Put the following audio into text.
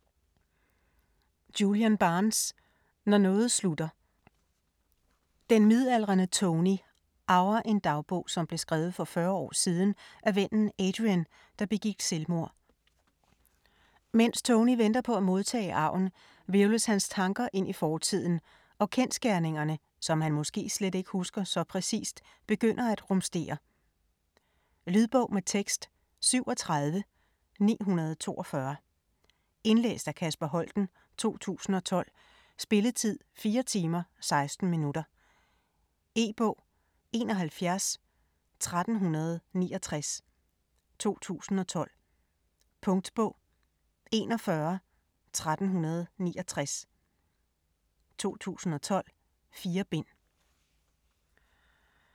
Barnes, Julian: Når noget slutter Den midaldrende Tony arver en dagbog, som blev skrevet for 40 år siden af vennen Adrian, der begik selvmord. Mens Tony venter på at modtage arven, hvirvles hans tanker ind i fortiden, og kendsgerningerne, som han måske slet ikke husker så præcist, begynder at rumstere. Lydbog med tekst 37942 Indlæst af Kasper Holten, 2012. Spilletid: 4 timer, 16 minutter. E-bog 711369 2012. Punktbog 411369 2012. 4 bind.